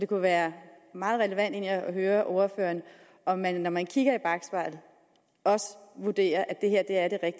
kunne være meget relevant at høre ordføreren om man når man ser i bakspejlet også vurderer at det her er